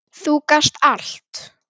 Þú gast allt.